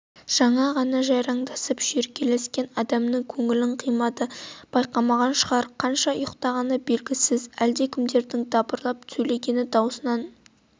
жаңа ғана жайраңдасып шүйіркелескен адамның көңілін қимады байқамаған шығар қанша ұйықтағаны белгісіз әлдекімдердің дабырлап сөйлескен дауысынан